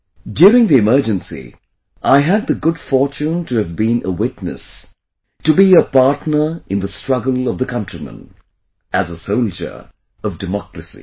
During the Emergency, I had the good fortune to have been a witness; to be a partner in the struggle of the countrymen as a soldier of democracy